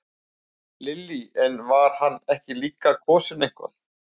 Lillý: En var hann ekki líka kosinn eitthvað?